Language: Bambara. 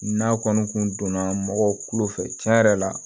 N'a kɔni kun donna mɔgɔw kulo fɛ tiɲɛ yɛrɛ la